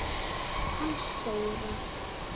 Hann Stóra